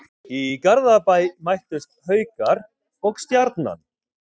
Í Garðabæ mættust Haukar og Stjarnan.